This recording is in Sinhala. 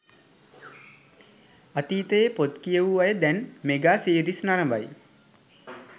අතීතයේ පොත් කියවූ අය දැන් මෙගා සීරීස් නරඹයි